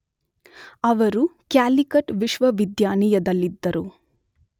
ಅವರು ಕ್ಯಾಲಿಕಟ್ ವಿಶ್ವವಿದ್ಯಾನಿಯದಲ್ಲಿದ್ದರು.